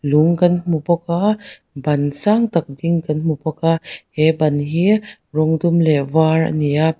lung kan hmu bawk a ban sang tak ding kan hmu bawk a he ban hi rawng dum leh var a ni a.